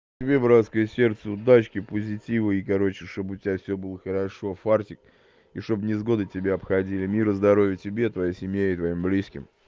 тебе братское сердце удачки позитива и короче чтобы у тебя всё было хорошо фартик и чтобы невзгоды тебя обходили мира здоровья тебе и твоей семье и твоим близким